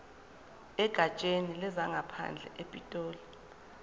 egatsheni lezangaphandle epitoli